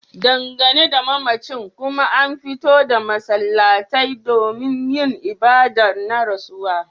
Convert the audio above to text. Dangane da mamacin kuma an fito da masallatai domin yin ibadar na rasuwa